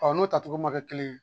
n'o tacogo ma kɛ kelen ye